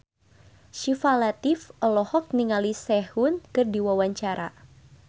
Syifa Latief olohok ningali Sehun keur diwawancara